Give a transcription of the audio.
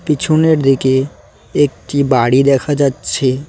পিছনের দিকে একটি বাড়ি দেখা যাচ্ছে।